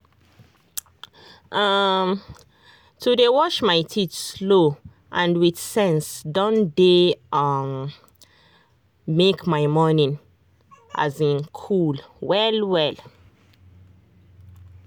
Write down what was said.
um to dey wash my teeth slow and with sense don dey um make my morning um cool well well.